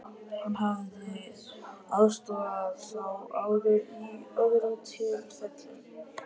Hann hefði aðstoðað þá áður í öðrum tilfellum.